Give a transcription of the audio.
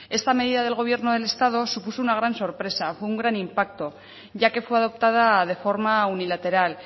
esta medida del gobierno de estado supuso una gran sorpresa fue un gran impacto ya que fue adoptada de forma unilateral